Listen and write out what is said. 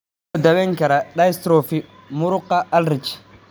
Sidee loo daweyn karaa dystrophy muruqa Ullrich?